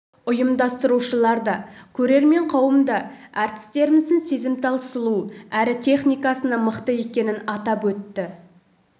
ұйымдастырушылар да көрермен қауым да әртістеріміздің сезімтал сұлу әрі техникасының да мықты екенін атап өтті